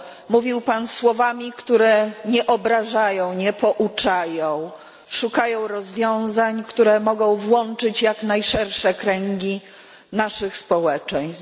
Mówił Pan słowami, które nie obrażają, nie pouczają, szukają rozwiązań, które mogą włączyć jak najszersze kręgi naszych społeczeństw.